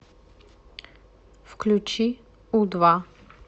включи у два